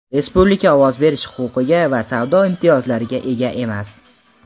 respublika ovoz berish huquqiga va savdo imtiyozlariga ega emas.